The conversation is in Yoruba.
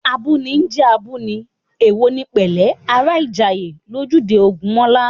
Abúni ń jẹ́ abúni, èwo ni pẹ̀lẹ́ ará Ìjàyè, lójúde Ògúnmọ́lá